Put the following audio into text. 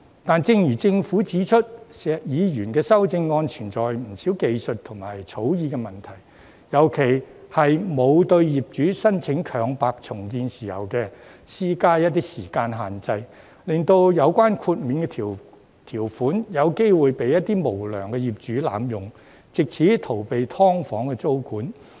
可是，正如政府指出，石議員的修正案存在不少技術及草擬問題，尤其是沒有對業主申請強拍重建的時間設限，令到有關豁免條款有機會被一些無良業主濫用，藉此逃避"劏房"租管。